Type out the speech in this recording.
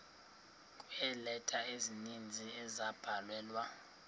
kweeleta ezininzi ezabhalelwa